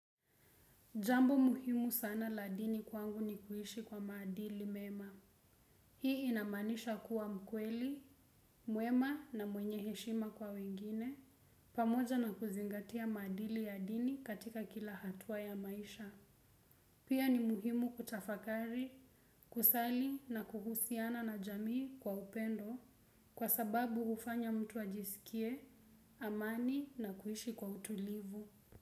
Jambo muhimu sana la dini kwangu ni kuishi kwa maadili mema. Hii inamaanisha kuwa mkweli, mwema na mwenye heshima kwa wengine, pamoja na kuzingatia maadili ya dini katika kila hatua ya maisha. Pia ni muhimu kutafakari, kusali na kuhusiana na jamii kwa upendo, kwa sababu hufanya mtu ajisikie, amani na kuishi kwa utulivu.